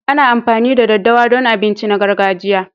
Ana amfani da ɗaddawa don abinci na gargajiya.